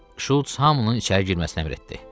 Şults hamının içəri girməsinə əmr etdi.